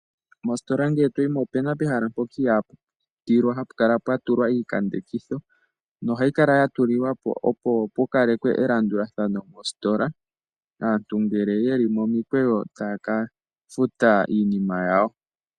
Mositola ngele toyi mo ope na pehala mpoka ihapu pitilwa hapu kala owa tulwa iikambekitho, nohayi kala ya tulilwapo opo pu kalekwe elandulathano mositola, aantu ngele ye li momikweyo taya ka futa iinima yawo.